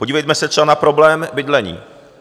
Podívejme se třeba na problém bydlení.